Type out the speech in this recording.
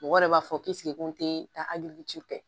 Mɔgɔ yɛrɛ b'a fɔ ko n te taa hali n ci fɛ